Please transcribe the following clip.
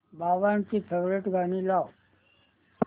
बाबांची फेवरिट गाणी लाव